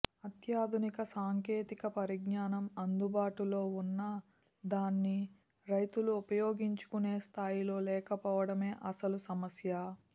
అత్యాధునిక సాంకేతిక పరిజ్ఞానం అందుబాటులో ఉన్నా దాన్ని రైతులు ఉపయోగించుకునే స్థాయిలో లేకపోవడమే అసలు సమస్య